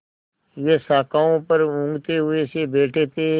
वे शाखाओं पर ऊँघते हुए से बैठे थे